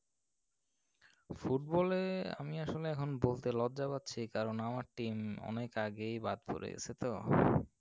football এ আমি আসলে এখন বলতে লজ্জা পাচ্ছি, কারণ আমার team অনেক আগেই বাদ পরে গেছে তো।